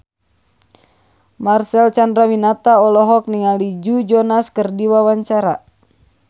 Marcel Chandrawinata olohok ningali Joe Jonas keur diwawancara